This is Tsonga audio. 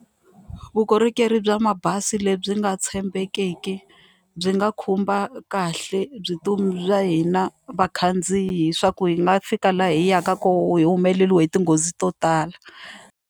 Vukorhokeri bya mabazi lebyi nga tshembekiki byi nga khumba kahle bya hina vakhandziyi hi swa ku hi nga fika laha hi yaka kona hi humeleriwile hi tinghozi to tala.